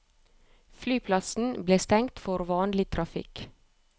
Flyplassen ble stengt for vanlig trafikk.